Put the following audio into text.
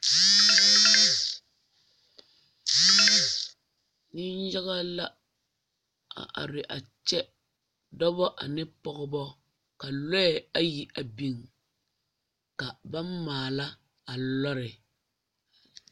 Neŋyaga la a are a kyɛ dɔbɔ ane pɔgebɔ ka lɔɛ ayi a biŋ ka ba maala a lɔre.